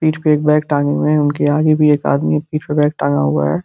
पीठ पे एक बैग टाँगे हुए है। उनके आगे भी एक आदमी पीठ पे बैग टांगा हुआ है।